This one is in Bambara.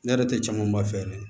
Ne yɛrɛ tɛ camanba fɛ dɛ